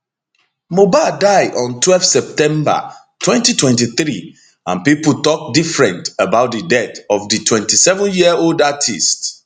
mohbad dieon twelve september 2023 and pipo tok different about di death of di 27yearold artiste